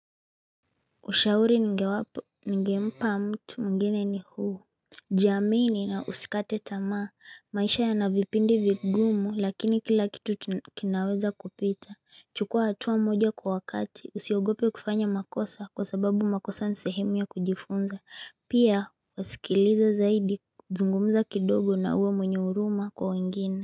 Ushauri ninge mpa mtu mwingine ni huu. Jiamini na usikate tamaa, maisha yanavipindi vigumu lakini kila kitu kinaweza kupita. Chukua hatuwa moja kwa wakati usiogope kufanya makosa kwa sababu makosa ni sehemu ya kujifunza pia usikilize zaidi zungumza kidogo na uwe mwenye huruma kwa wengine.